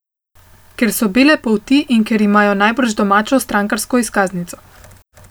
Ker so bele polti in ker imajo najbrž domačo strankarsko izkaznico.